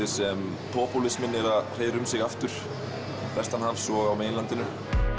sem popúlisminn er að hreiðra um sig aftur vestanhafs og á meginlandinu